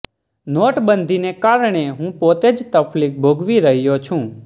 નોટબંધીને કારણે હું પોતે જ તકલીફ ભોગવી રહ્યો છું